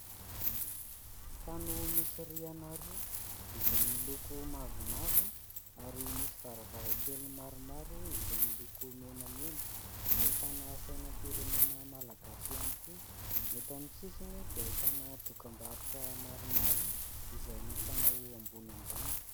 Trano misy rihana roa izay miloko mavomavo ary misy varavarankely maromaro izay miloko menamena. Ahitana sainam-pirenena malagasy ihany koa. Eto amin'ny sisiny dia ahitana dokam-barotra maromaro izay mifanao ambony ambany.